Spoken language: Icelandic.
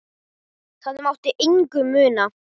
Það mátti engu muna.